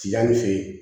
Tiyanin fɛ yen